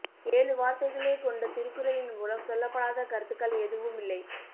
ஏழு வார்த்தைகளே கொண்ட திருக்குறளின் மூலம் சொல்லப்படாத கருத்துக்கள் எதுவும் இல்லை